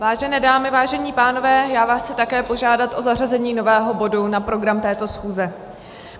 Vážené dámy, vážení pánové, já vás chci také požádat o zařazení nového bodu na program této schůze.